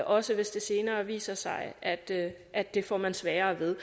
også hvis det senere viser sig at det at det får man sværere ved